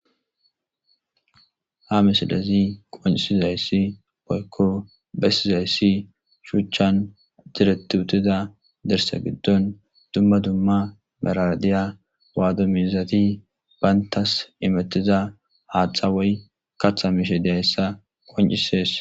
Ha misilezi qoncisi zayssi poykko bessi zayssi shuchchan diretutida dersa giddon dumma dumma meradiya waadomizati bayntas imettiza haathxa woy katha miishe dessa qoncisees.